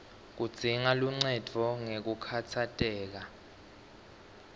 kudzinga luncendvo ngekukhatsateka